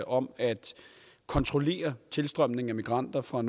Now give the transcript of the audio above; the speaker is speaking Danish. om at kontrollere tilstrømningen af migranter fra